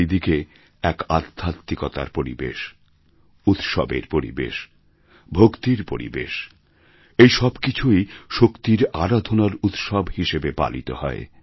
চারিদিকে এক আধ্যত্মিকতার পরিবেশ উৎসবের পরিবেশ ভক্তির পরিবেশ এই সব কিছুই শক্তির আরাধনার উৎসব হিসেবে পালিত হয়